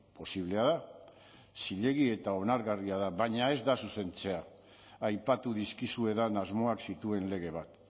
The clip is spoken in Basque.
posiblea da zilegi eta onargarria da baina ez da zuzentzea aipatu dizkizuedan asmoak zituen lege bat